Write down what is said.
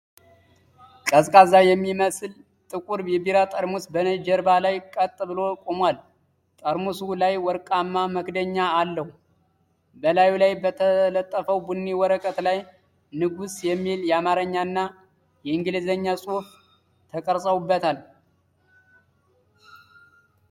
ቀዝቃዛ የሚመስል ጥቁር ቢራ ጠርሙስ በነጭ ጀርባ ላይ ቀጥ ብሎ ቆሟል። ጠርሙሱ ላይ ወርቃማ መክደኛ አለው። በላዩ ላይ በተለጠፈው ቡኒ ወረቀት ላይ "ንጉስ" የሚል አማርኛ እና የእንግሊዝኛ ጽሑፍ ተቀርጾበታል።